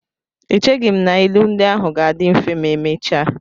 Echeghị m na ilu ndị ahụ ga-adị mfe ma emechaa.